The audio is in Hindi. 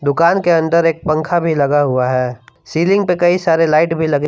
दुकान के अंदर एक पंखा भी लगा हुआ है सीलिंग पे कई सारे लाइट भी लगे--